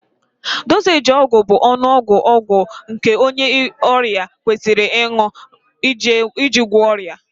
Dozééji ọgwụ bụ ọnụọgụ ọgwụ nke onye ọrịa kwesịrị ịṅụ iji gwọọ ọrịa